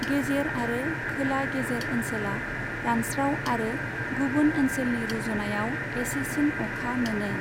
गेजेर आरो खोला गेजेर ओनसोलआ रानस्राव आरो गुबुन ओनसोलनि रुजुनायाव एसेसिन अखा मोनो।